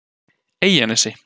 Eyjanesi